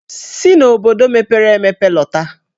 Si n'obodo mepere emepe lọta!